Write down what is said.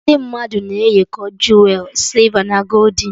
Ndị mmadụ na eyikọ juwerị sịlva na goldin